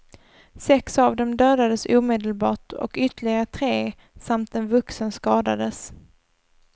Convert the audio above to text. Sex av dem dödades omedelbart och ytterligare tre samt en vuxen skadades.